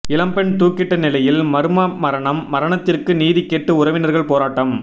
இளம்பெண் தூக்கிட்ட நிலையில் மர்ம மரணம் மரணத்திற்கு நீதி கேட்டு உறவினர்கள் போராட்டம்